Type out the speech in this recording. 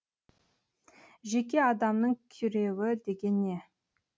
жеке адамның күйреуі деген не